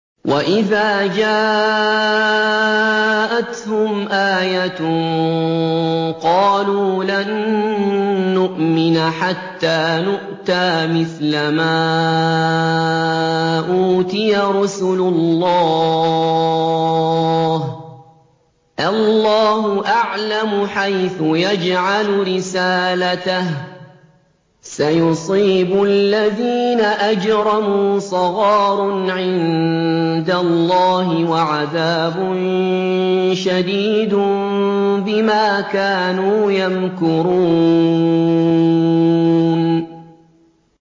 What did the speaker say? وَإِذَا جَاءَتْهُمْ آيَةٌ قَالُوا لَن نُّؤْمِنَ حَتَّىٰ نُؤْتَىٰ مِثْلَ مَا أُوتِيَ رُسُلُ اللَّهِ ۘ اللَّهُ أَعْلَمُ حَيْثُ يَجْعَلُ رِسَالَتَهُ ۗ سَيُصِيبُ الَّذِينَ أَجْرَمُوا صَغَارٌ عِندَ اللَّهِ وَعَذَابٌ شَدِيدٌ بِمَا كَانُوا يَمْكُرُونَ